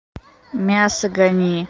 мясо гони